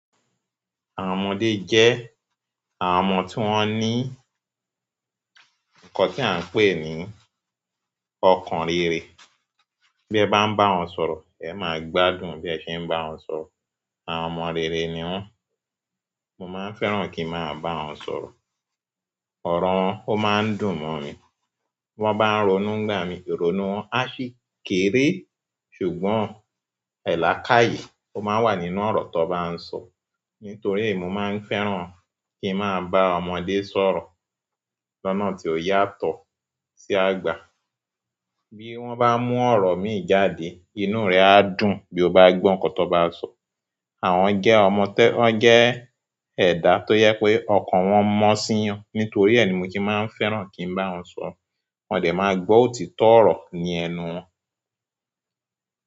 Àwọn ọmọdé jẹ́ àwọn ọmọ tí wọ́n ní nǹkan tí à ń pè ní ọkàn rere. Bí ẹ bá ń bá wọn sọ̀rọ̀, ẹ máa gbádùn bí ẹ ṣe ń bá wọn sọ̀rọ̀. Àwọn ọmọ rere ni wọ́n. Mo máa ń fẹ́ràn kí ń máa bá wọn sọ̀rọ̀. Ọ̀rọ̀ wọn, ó máa ń dùn mọ́ mi. Wọ́n bá ń ronú n'gba mí, ìrònú wọn á sì kéré. Ṣùgbọ́n, e lakaye o maa n wa nínú oro tan ba n so. Nítorí è, mo máa ń fẹ́ràn kí ń máa bá ọ̀mode sọ̀rọ̀. Lọ́nà tí ó yàtọ̀ sí àgba. Bí wọ́n bá mú ọ̀rọ̀ mi jáde, inú rẹ á dùn bí o bá gbọ́ ǹkan tan bá sọ. Àwọn je ọmọ to- won je eda to je pe okan won mo si'yan. Nítorí e ni mo se máa ń fẹ́ràn kí ń bá wọn sọ̀rọ̀. Won de maa gbo òtítọ́ oro ni ẹnu won.